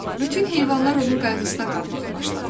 Bütün heyvanlar onun qayğısına qalmağa başladılar.